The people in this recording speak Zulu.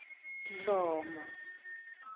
dlomo